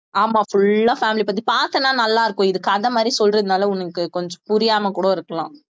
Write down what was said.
ஆமா full ஆ family பத்தி பார்த்தேன்னா நல்லா இருக்கும் இது கதை மாதிரி சொல்றதுனால உனக்கு கொஞ்சம் புரியாம கூட இருக்கலாம்